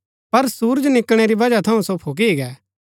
पर सुरज निकळणै री बजह थऊँ सो फूकी गै